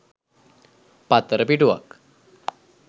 පත්තර පිටුවක්